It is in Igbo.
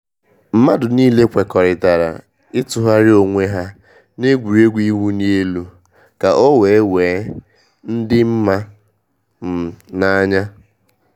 Mmadu niile kwekọrịtara ịtụgharị onwe ha n’egwuregwu ịwụ li elu ka ọ wee wee dị mma um na anya